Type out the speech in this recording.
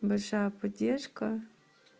большая поддержка